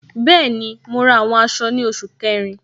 Bẹẹni, mo ra àwọn aṣọ ni oṣù kẹrin.